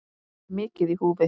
Hér er mikið í húfi.